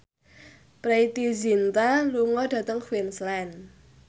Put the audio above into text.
Preity Zinta lunga dhateng Queensland